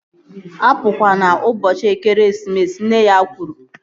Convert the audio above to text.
Apukwana ụbọchị ekeresimesi! Nne ya kwuru